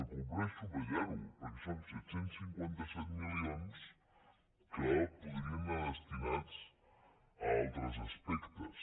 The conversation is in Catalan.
convé subratllar ho perquè són set cents i cinquanta set milions que podrien anar destinats a altres aspectes